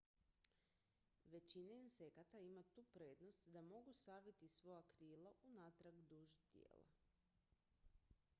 većina insekata ima tu prednost da mogu saviti svoja krila unatrag duž tijela